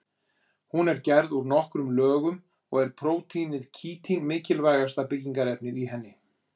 Hún er gerð úr nokkrum lögum og er prótínið kítín mikilvægasta byggingarefnið í henni.